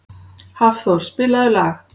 Hafþór, spilaðu lag.